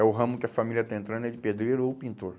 É o ramo que a família está entrando, é de pedreiro ou pintor.